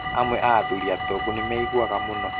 Amwe a athuri atongu nĩmeiguaga mũno